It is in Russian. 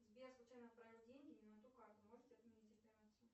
сбер случайно отправил деньги не на ту карту можете отменить операцию